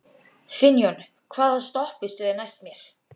Finnjón, hvaða stoppistöð er næst mér?